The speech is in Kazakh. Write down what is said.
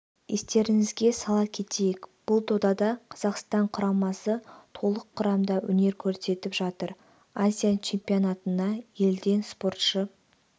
естеріңізге сала кетейік бұл додада қазақстан құрамасы толық құрамда өнер көрсетіп жатыр азия чемпионатына елден спортшы